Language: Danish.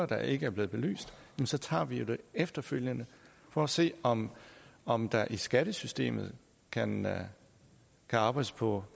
der ikke er blevet belyst så tager vi dem efterfølgende for at se om om der i skattesystemet kan kan arbejdes på